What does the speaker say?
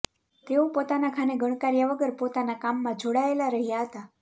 તેઓ પોતાના ઘાને ગણકાર્યા વગર પોતાના કામમાં જોડાયેલા રહ્યા હતા